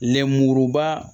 Lenmuruba